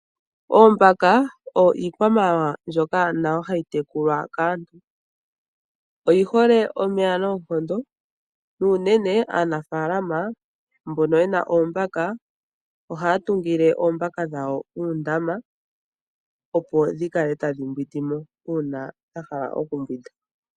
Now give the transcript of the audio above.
Oombaka oyo iikwamawawa mbyoka nayo hayi tekulwa kaantu oyihole omeya noonkondo nuunene aanafalama mbono yena oombaka ohatungile oombaka dhawo Uundama opo dhikale tadhi mbwindimo una dhahala okumbwinda.